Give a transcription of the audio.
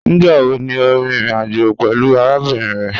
Nigbawo ni o rin irin ajo pẹlu arabinrin rẹ?